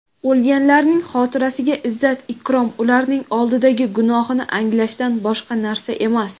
O‘lganlarning xotirasiga izzat-ikrom ularning oldidagi gunohni anglashdan boshqa narsa emas.